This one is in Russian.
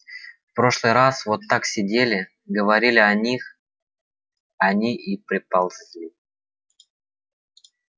в прошлый раз вот так сидели говорили о них они и приползли